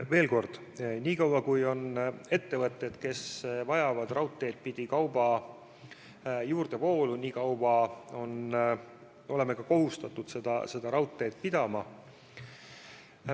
Veel kord: nii kaua kui on ettevõtteid, kes vajavad raudteed pidi kauba juurdevoolu, nii kaua oleme ka kohustatud seda raudteed töös hoidma.